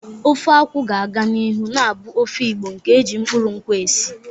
Ofe akwu ga-aga n'ihu na-abụ ofe Igbo nke e ji mkpụrụ nkwụ esi.